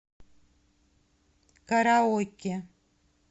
караоке